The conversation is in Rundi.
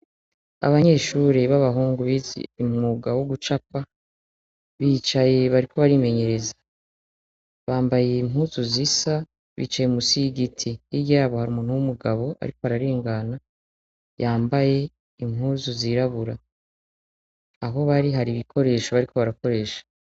Abanyeshure b'abahungu bizi umwuga wo gucapa bicaye bariko barimenyereza bambaye impuzu zisa bicaye musi y'igiti iryabo hari umuntu w'umugabo, ariko araringana yambaye impuzu zirabura aho bari hari ibikoresho bariko barakoresha.